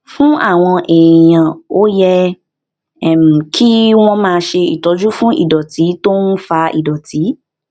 fún àwọn èèyàn ó yẹ um kí wón máa ṣe ìtọjú fún ìdòtí tó ń fa ìdòtí